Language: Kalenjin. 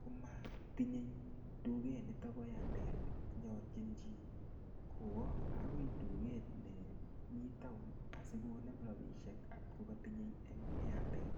komatinye duket nitobo airtel nyolchin chi kowo agoi duket nemi taon asikonem rapisiek ngot ko katinye en airtel.